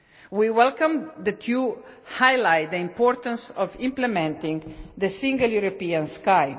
We welcome the highlighting of the importance of implementing the Single European Sky.